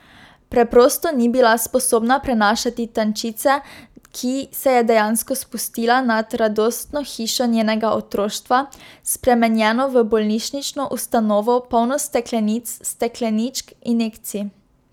Preprosto ni bila sposobna prenašati tančice, ki se je dejansko spustila nad radostno hišo njenega otroštva, spremenjeno v bolnišnično ustanovo, polno steklenic, stekleničk, injekcij.